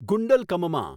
ગુંડલકમમાં